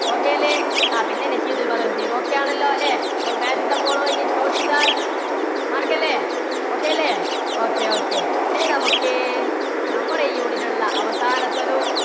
okay അല്ലേ? ആ പിന്നെ okay ആണല്ലോ അല്ലേ? അപ്പോൾ match the following ചോദിച്ചാൽ മറക്കല്ലേ. okay അല്ലേ? okay, okay. ഇനി നമുക്ക് നമ്മുടെ ഈ unit ൽ ഉള്ള അവസാനത്തെ ഒരു